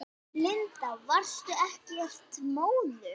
Linda: Varstu ekkert móður?